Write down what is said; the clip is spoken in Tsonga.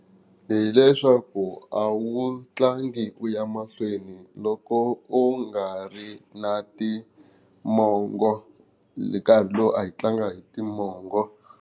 Hi leswaku a wu tlangi u ya mahlweni loko u nga ri na timongo nkarhi lowu a yi tlanga hi timongo.